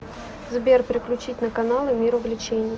сбер переключить на каналы мир увлечений